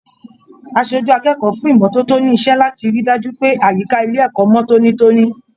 Aṣojú akẹ́kọ̀ọ́ fún ìmọ́tótó ni iṣẹ láti rí dájú pé àyíká ilé ẹ̀kọ́ mọ tónítóní.